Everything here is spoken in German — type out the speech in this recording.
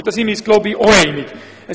Ich denke, hier sind wir uns einig.